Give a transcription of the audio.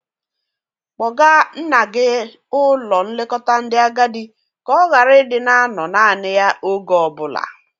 Kpọga nna gi ụlọ nlekota ndị agadị ka ọ gara ị dị na-anọ nani ya oge o bụla!